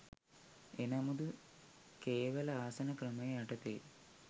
එනමුදු කේවළ ආසන ක්‍රමය යටතේ